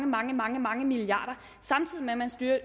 mange mange mange milliarder samtidig med at man